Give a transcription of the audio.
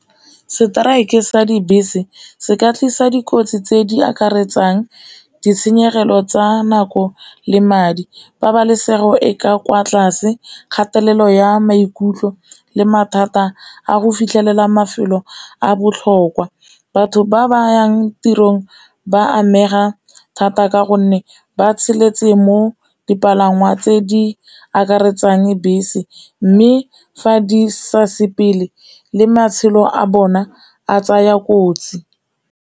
Seteraeke sa dibese seka tlisa dikotsi tse di akaretsang ditshenyegelo tsa nako le madi, pabalesego e ka kwa tlase, kgatelelo ya maikutlo le mathata a go fitlhelela mafelo a botlhokwa. Batho ba ba yang tirong ba amega thata ka gonne ba tshepetse mo dipalangwa tse di akaretsang bese mme fa di sa sepele le matshelo a bona a tsaya kotsi.